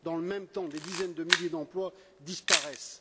Dans le même temps, des dizaines de milliers d'emplois disparaissent.